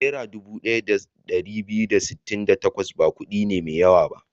Naira dubu ɗaya da ɗari biyu da sittin da takwas ba kuɗi ne mai yawa ba.